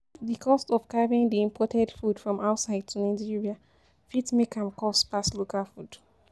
Di cost of carrying di imported food from outside to Nigeria fit make am cost pass local food